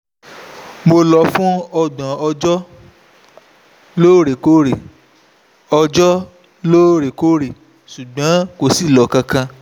mo lò ó fún ọgbọ̀n ọjọ́ lóòrèkóòrè ọjọ́ lóòrèkóòrè ṣùgbọ́n kò sí ìlò kankan